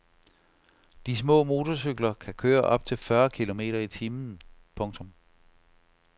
De små motorcykler kan køre op til fyrre kilometer i timen. punktum